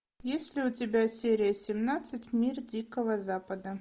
есть ли у тебя серия семнадцать мир дикого запада